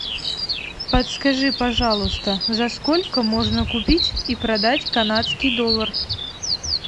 подскажи пожалуйста за сколько можно купить и продать канадский доллар